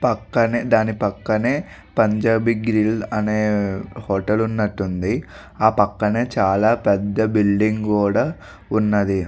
పక్కనే దాని పక్కనే పంజాబీ గ్రిల్ అనే హోటల్ ఉన్నట్టు ఉంది ఆ పక్కనే చాలా పెద్ధ బిల్డింగ్ కూడా ఉన్నది.